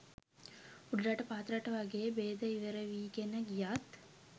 උඩරට පහතරට වගේ බේද ඉවරවීගෙන ගියත්